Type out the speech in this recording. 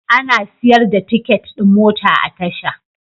Ana siyar da tiket ɗin mota a tasha.